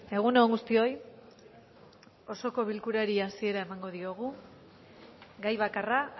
egun on guztioi osoko bilkurari hasiera emango diogu gai bakarra